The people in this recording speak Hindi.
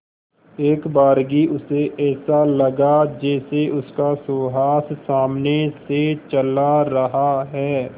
एकबारगी उसे ऐसा लगा जैसे उसका सुहास सामने से चला रहा है